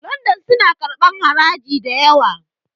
London suna karɓar haraji da yawa